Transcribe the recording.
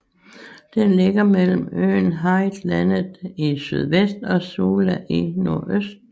Den ligger mellem øen Hareidlandet i sydvest og Sula i nordøst